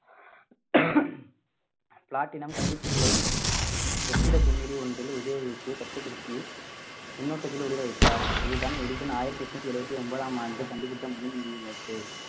platinum கம்பிச்சுருளை வெற்றிட குமிழி ஒன்றில் உபயோகித்து கட்டுப்படுத்தி மின்னோட்டத்தில் ஒளிர வைத்தார் இதுதான் எடிசன் ஆயிரத்தி எட்நூத்தி எழுபத்தி ஒன்பதாம் ஆண்டு கண்டுபிடித்த முதல் மின் விளக்கு